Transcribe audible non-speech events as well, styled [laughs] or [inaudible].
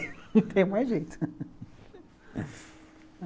[laughs] Não tem mais jeito.